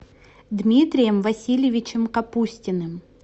дмитрием васильевичем капустиным